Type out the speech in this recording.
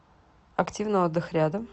активный отдых рядом